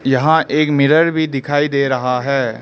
यहां एक मिरर भी दिखाई दे रहा है।